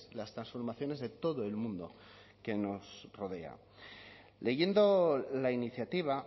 las transformaciones de todo el mundo que nos rodea leyendo la iniciativa